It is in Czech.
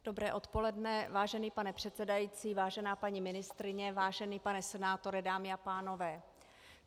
Dobré odpoledne vážený pane předsedající, vážená paní ministryně, vážený pane senátore, dámy a pánové.